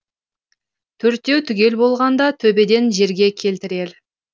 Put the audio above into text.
төртеу түгел болғанда төбеден жерге келтірер